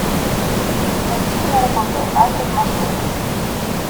найди киноработу однажды в марселе